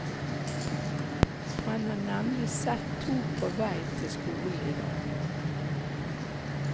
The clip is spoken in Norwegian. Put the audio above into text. Han har nemlig sett to på vei til skolen i dag.